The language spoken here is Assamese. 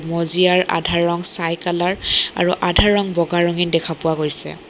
মজিয়াৰ আধা ৰং ছাই কালাৰ আৰু আধা ৰং বগা ৰঙি দেখা পোৱা গৈছে।